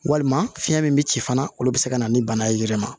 Walima fiɲɛ min bɛ ci fana olu bɛ se ka na ni bana ye yɛrɛ ma